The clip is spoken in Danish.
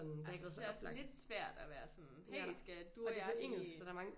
Ej så synes jeg også er lidt svært at være sådan hey skal du og jeg ikke